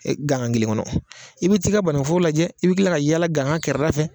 E gangan kelen kɔnɔ, i bɛ ti ka bananku foro lajɛ i bɛ kila ka yaala gangan kɛrɛ da fɛ.